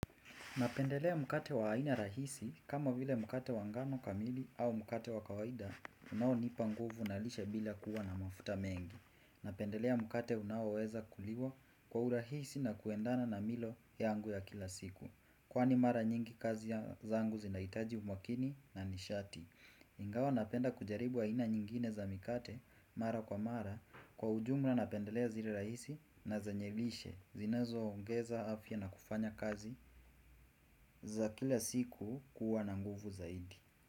Napendelea mkate wa aina rahisi kama vile mkate wa ngano kamili au mkate wa kawaida unaonipa nguvu na lishe bila kuwa na mafuta mengi. Napendelea mkate unaoweza kuliwa kwa urahisi na kuendana na milo yangu ya kila siku. Kwani mara nyingi kazi zangu zinahitaji umakini na nishati. Ingawa napenda kujaribu aina nyingine za mikate mara kwa mara kwa ujumla napendelea zile rahisi na zenye lishe zinazo ongeza afya na kufanya kazi za kila siku kuwa na nguvu zaidi.